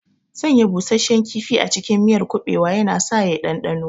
Sanya busasshen kifi a cikin miyar kuɓewa yana sa ya ɗanɗano,